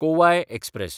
Kovai express